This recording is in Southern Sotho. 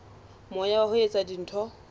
moya wa ho etsa dintho